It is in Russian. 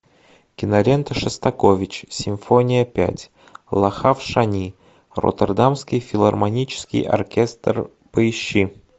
кинолента шостакович симфония пять лахав шани роттердамский филармонический оркестр поищи